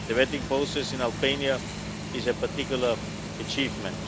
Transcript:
The vetting process in Albania is a particular achievement.